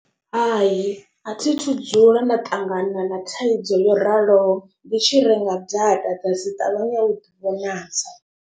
Hai a thi thu dzula nda ṱangana na thaidzo yo raloho ndi tshi renga data dza si ṱavhanye u ḓivhonadza.